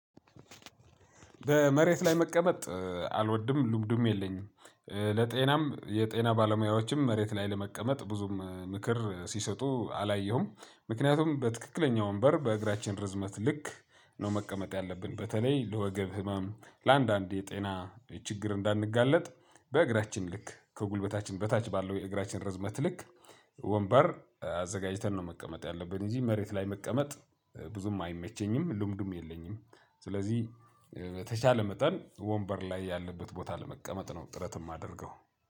በመሬት ላይ መቀመጥ አልወድም ልምዱም የለኝም። ለጤናም የጤና ባለሙያዎችም መሬት ላይ ለመቀመጥ ብዙም ምክር ሲሰጡ አላየሁም። ምክንያቱም በትክክለኛው ወንበር በእግራችን ርዝመት ልክ ነው። መቀመጥ ያለብን በተለይ ለወገብ ህመም ለአንዳንድ የጤና ችግር እንዳንጋለጥ። በእግራችን ልክ ከጉልበታችን በታች ባለው የእግራችን ርዝመት ልክ ወንበር አዘጋጅተን ነው መቀመጥ ያለብን እንጂ። መሬት ላይ መቀመጥ ብዙም አይመቸኝም ልምዱም የለኝም። ስለዚህ በተቻለ መጠን ወንበር ላይ ያለበት ቦታ ለመቀመጥ ነው ጥረት የማደርገው።